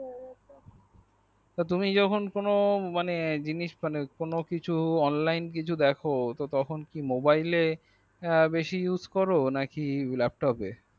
তুমি যখন কোনো মানে জিনিস কোনো কিছু online কিছু দেখো তখন কি mobile বেশি use করো নাকি laptop এ